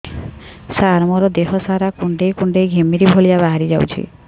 ସାର ମୋର ଦିହ ସାରା କୁଣ୍ଡେଇ କୁଣ୍ଡେଇ ଘିମିରି ଭଳିଆ ବାହାରି ଯାଉଛି